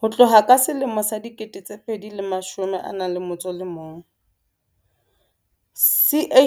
Ho tloha ka selemo sa 2011,